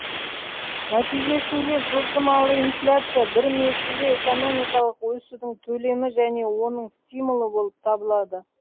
нәтижесінде жылжымалы инфляция бір мезгілде экономикалық өсудің төлемі және оның стимулы болып табылады